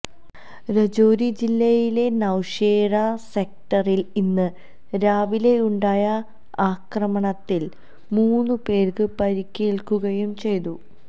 രജോരി ജില്ലയിലെ നൌഷേര സെക്ടറില് ഇന്ന് രാവിലെയുണ്ടായ ആക്രമണത്തില് മൂന്ന് പേര്ക്ക് പരിക്കേല്ക്കുകയും ചെയ്തു